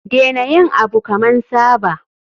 Dena yin Abu kaman Saba.